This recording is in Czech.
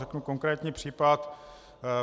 Řeknu konkrétní případ.